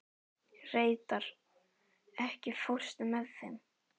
Reidar, ekki fórstu með þeim?